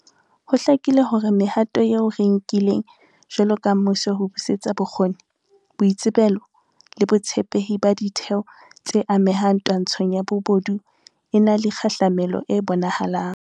Ho hlakile hore mehato eo re e nkileng jwalo ka mmuso ho busetsa bokgoni, boitsebelo le botshepehi ba ditheo tse amehang twantshong ya bobodu e na le kgahlamelo e bonahalang.